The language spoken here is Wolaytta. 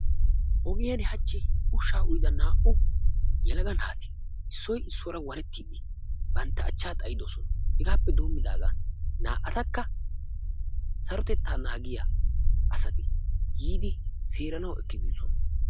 Ogiyaan hachchi ushsha uyyida naa''u yelaga naati issoy issuwara waren bantta achcha xaayidoosona. Hegaappe denddidaagan sarotettaa naagiyaa asati yiidi seeranaw ekki biidoosona.